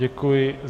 Děkuji.